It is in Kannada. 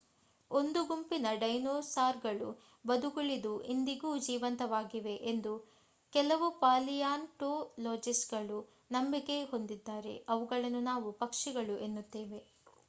ಒಂದು ಗುಂಪಿನ ಡೈನೋಸಾರ್ಗಳು ಬದುಕುಳಿದು ಇಂದಿಗೂ ಜೀವಂತವಾಗಿವೆ ಎಂದು ಕೆಲವು ಪಾಲಿಯೊನ್ಟೋಲೊಜಿಸ್ಟರು ನಂಬಿಕೆ ಹೊಂದಿದ್ದಾರೆ ಅವುಗಳನ್ನು ನಾವು ಪಕ್ಷಿಗಳು ಎನ್ನುತ್ತೇವೆ